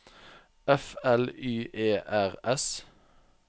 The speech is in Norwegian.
F L Y E R S